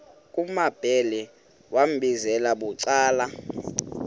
kumambhele wambizela bucala